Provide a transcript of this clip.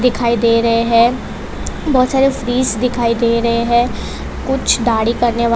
दिखाई दे रहे हैं बहोत सारे फ्रिज दिखाई दे रहे हैं कुछ दाढ़ी करने वा--